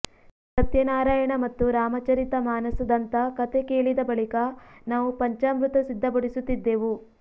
ಸತ್ಯನಾರಾಯಣ ಮತ್ತು ರಾಮ ಚರಿತ ಮಾನಸದಂಥ ಕಥೆ ಕೇಳಿದ ಬಳಿಕ ನಾವು ಪಂಚಾಮೃತ ಸಿದ್ಧಪಡಿಸುತ್ತಿದ್ದೆವು